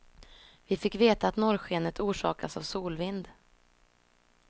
Vi fick veta att norrskenet orsakas av solvind.